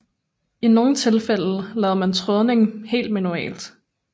I nogle tilfælde lavede man trådningen helt manuelt